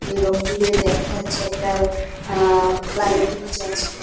এবং দূরে দেখা যাচ্ছে একটা আআআ ফ্লাই ব্রিজ আছে।